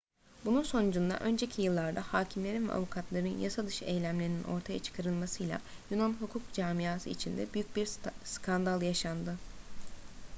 bunun sonucunda önceki yıllarda hâkimlerin ve avukatların yasadışı eylemlerinin ortaya çıkarılmasıyla yunan hukuk camiası içinde büyük bir skandal yaşandı